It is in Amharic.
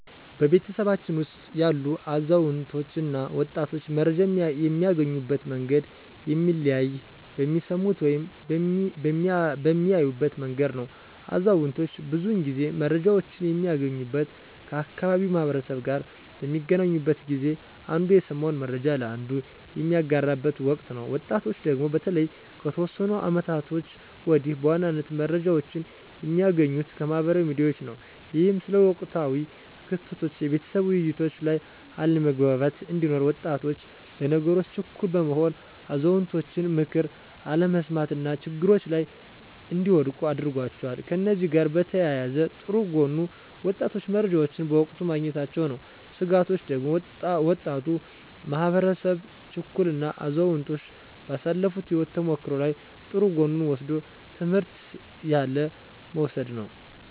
በቤተሰባችን ውስጥ ያሉ አዛውንቶች እና ወጣቶች መረጃን የሚያገኙበት መንገድ የሚለያየው በሚሰሙበት ወይም በሚያዩበት መንገድ ነው። አዛውንቶች ብዙውን ጊዜ መረጃወችን የሚያገኙት ከአካባቢው ማህበረሰብ ጋር በሚገናኙበት ጊዜ አንዱ የሰማውን መረጃ ለአንዱ በሚያጋራበት ወቅት ነው። ወጣቶቹ ደግሞ በተለይ ከተወሰኑ አመታቶች ወዲህ በዋናነት መረጃዎችን የሚያገኙት ከማህበራዊ ሚዲያዎች ነው። ይህም ስለ ወቅታዊ ክስተቶች የቤተሰብ ውይይቶች ላይ አለመግባባት እንዲኖር፤ ወጣቶች ለነገሮች ችኩል በመሆን የአዛውንቶችን ምክር አለመስማት እና ችግሮች ላይ እንዲወድቁ አድርጓቸዋል። ከእነዚህ ጋር በተያያዘ ጥሩ ጎኑ ወጣቶቹ መረጃዎችን በወቅቱ ማግኘታቸው ነው። ስጋቶቹ ደግሞ ወጣቱ ማህበረሰብ ችኩል እና አዛውንቶች ባሳለፋት የህይወት ተሞክሮ ላይ ጥሩ ጎኑን ወስዶ ትምህርት ያለ መውሰድ ነው።